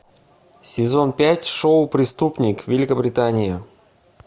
сезон пять шоу преступник великобритания